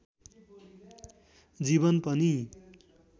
जीवन पनि